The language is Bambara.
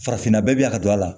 Farafinna bɛɛ bɛ yan ka don a la